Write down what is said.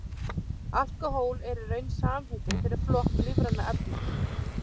alkóhól er í raun samheiti fyrir flokk lífrænna efna